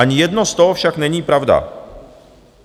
Ani jedno z toho však není pravda.